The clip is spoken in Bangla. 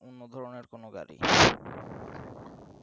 অন্য ধরনের কোন গাড়ি